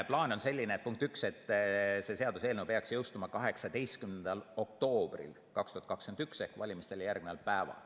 Plaan on selline, punkt üks, et see seaduseelnõu peaks jõustuma 18. oktoobril 2021 ehk valimistele järgneval päeval.